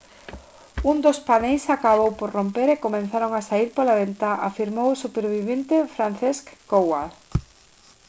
un dos paneis acabou por romper e comezaron a saír pola ventá» afirmou o supervivente franciszek kowal